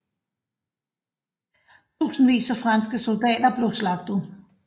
Tusindvis af franske soldater blev slagtet